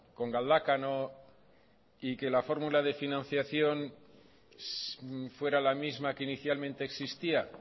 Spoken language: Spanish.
con galdakao y que la fórmula de financiación fuera la misma que inicialmente existía